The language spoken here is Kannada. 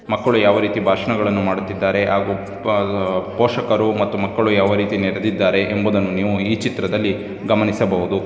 ಮಕ್ಕಳು ಯಾವ ರೀತಿ ಭಾಷಣಗಳನ್ನು ಮಾಡುತ್ತಿದ್ದಾರೆ ಹಾಗೂ ಪ-ಪೋಷಕರು ಮತ್ತು ಮಕ್ಕಳು ಯಾವ ರೀತಿ ನಡೆದಿದ್ದಾರೆ ಎಂಬುದನ್ನು ನೀವು ಈ ಚಿತ್ರದಲ್ಲಿ ಗಮನಿಸಬಹುದು.